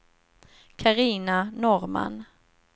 Carina Norrman